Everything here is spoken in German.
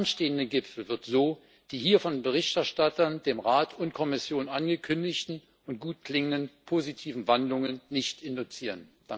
Der anstehende Gipfel wird so die hier von Berichterstattern, dem Rat und der Kommission angekündigten und gut klingenden positiven Wandlungen nicht induzieren.